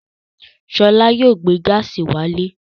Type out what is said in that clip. Ṣọlá yóò gbé gáásì wálé.